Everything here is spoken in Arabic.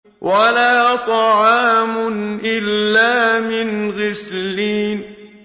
وَلَا طَعَامٌ إِلَّا مِنْ غِسْلِينٍ